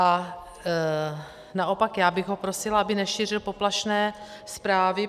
A naopak já bych ho prosila, aby nešířil poplašné zprávy.